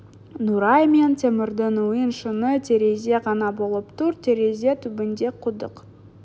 нұрай мен темірдің үйін шыны терезе ғана бөліп тұр терезе түбінде құдық